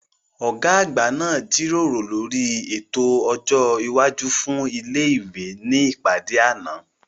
Ọ̀gá àgbà náà jíròrò lórí ètò ọjọ́ iwájú fún ilé ìwé ní ìpàdé àná